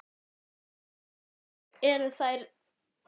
Lára: Og eru þær